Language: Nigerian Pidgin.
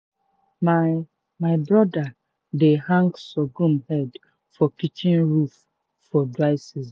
my my brother dey hang sorghum head for kitchen roof for dry season.